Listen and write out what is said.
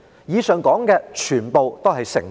以上說的全部都是成本。